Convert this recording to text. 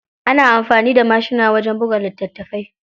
Ana amfani da mashina wajen buga litattafai.